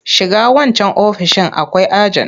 Shiga wancan ofoishin akwai ajen!